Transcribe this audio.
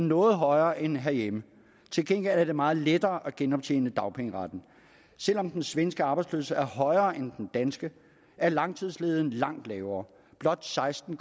noget højere end herhjemme til gengæld er det meget lettere at genoptjene dagpengeretten selv om den svenske arbejdsløshed er højere end den danske er langtidsledigheden langt lavere blot seksten